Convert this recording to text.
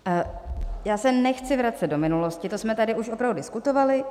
Já se nechci vracet do minulosti, to jsme tady už opravdu diskutovali.